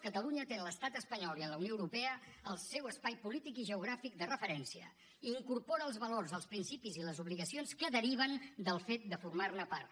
catalunya té en l’estat espanyol i en la unió europea el seu espai polític i geogràfic de referència i incorpora els valors els principis i les obligacions que deriven del fet de formar ne part